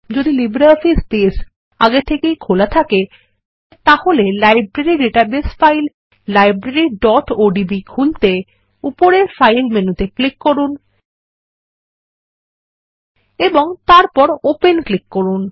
যদি LibreOffice Base আগে থেকেই খোলা থাকে তাহলে লাইব্রেরী ডাটাবেস ফাইল libraryওডিবি খুলতে উপরের ফাইল মেনুতে ক্লিক করুন এবং তারপর ওপেন ক্লিক করুন